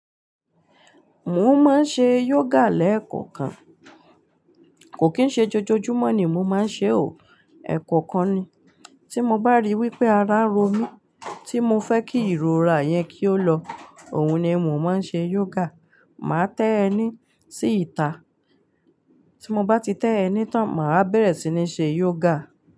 Mo máa ń ṣe yoga lẹ́ẹ̀kọ̀kan. Kò kín ṣe jojoojúmọ́ ni mo máa ń ṣe ò, ẹ̀ẹ̀kọ̀kan ni. Tí mo bá ríi wípé ara ń ro mí, tí mo fẹ́ kí ìrora yẹn kí ó lọ, òun ni mo máa ń ṣe yoga. Máa tẹ́ ẹní sí ìta, tí mo bá ti tẹ́ ẹni tán, màá bẹ̀rẹ̀ sí ní ṣe yoga.